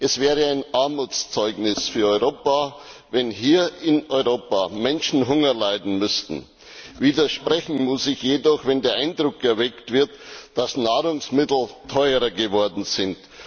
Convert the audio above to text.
Es wäre ein Armutszeugnis für Europa, wenn hier in Europa Menschen Hunger leiden müssten. Widersprechen muss ich jedoch, wenn der Eindruck erweckt wird, dass Nahrungsmittel teurer geworden sind.